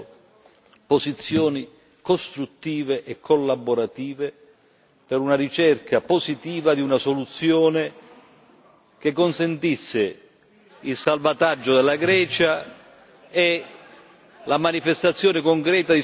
costruttive e collaborative per una ricerca positiva di una soluzione che consentisse il salvataggio della Grecia e la manifestazione concreta di solidarietà ai cittadini greci.